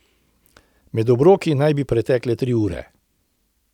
Med obroki naj bi pretekle tri ure ...